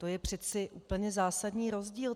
To je přece úplně zásadní rozdíl.